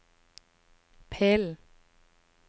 pillen